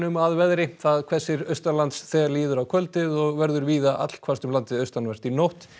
að veðri það hvessir þegar líður á kvöldið og verður víða allhvasst um landið austanvert í nótt